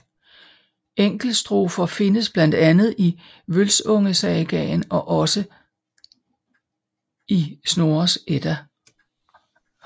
Enkeltstrofer findes blandt andet i Vølsungesagaen og altså i Snorres Edda